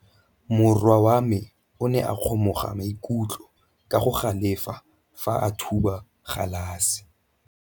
Morwa wa me o ne a kgomoga maikutlo ka go galefa fa a thuba galase.